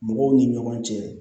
Mɔgɔw ni ɲɔgɔn cɛ